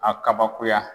A kabakoya